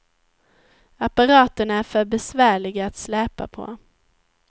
Apparaterna är för besvärliga att släpa på.